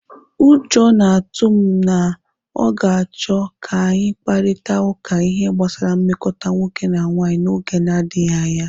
Ụjọ na-atụ m na ọ ga-achọ ka anyị kparịta ụka ihe gbasara nmekọta nwoke na nwanyị n'oge na-adịghị anya.